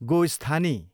गोस्थानी